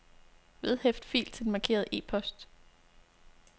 Vedhæft fil til den markerede e-post.